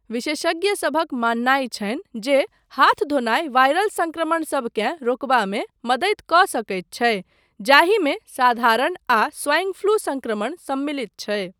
विशेषज्ञसभक माननाय छनि जे हाथ धोनाय वायरल संक्रमणसबकेँ रोकबामे मदति कऽ सकैत छै, जाहिमे साधारण आ स्वाइन फ्लू संक्रमण सम्मिलित छै।